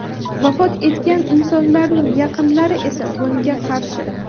Vafot etgan insonlarning yaqinlari esa bunga qarshi.